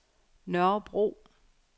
Nørrebro